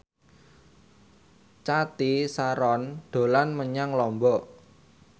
Cathy Sharon dolan menyang Lombok